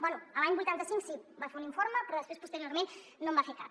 bé l’any vuitanta cinc sí va fer un informe però després posteriorment no en va fer cap